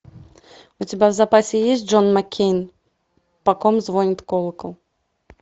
у тебя в запасе есть джон маккейн по ком звонит колокол